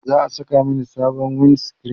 za'a Saka Mani sabon wind screen